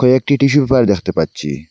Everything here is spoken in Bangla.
একটি টিস্যু পেপার দেখতে পাচ্ছি।